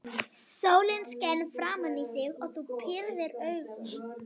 Sólin skein framan í þig og þú pírðir augun.